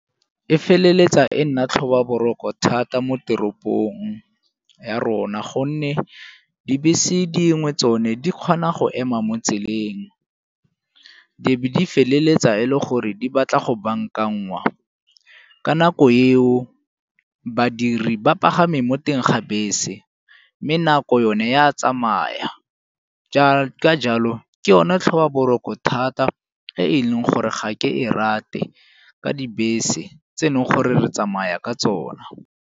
E feleletsa e nna tlhoba boroko thata mo teropong ya rona gonne dibese dingwe tsone di kgona go ema mo tseleng, di be di feleletsa e le gore di batla go bankanngwa. Ka nako eo badiri ba pagame mo teng ga bese mme nako yone e a tsamaya ka jalo ke yone tlhobaboroko thata e leng gore ga ke e rate ka dibese tsene gore re tsamaya ka tsona.